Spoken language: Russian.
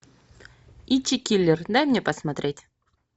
ичи киллер дай мне посмотреть